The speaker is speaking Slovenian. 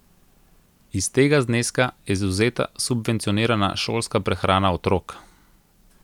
Iz tega zneska je izvzeta subvencionirana šolska prehrana otrok.